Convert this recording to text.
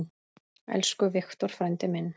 Elsku Victor frændi minn.